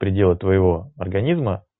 переделы твоего организма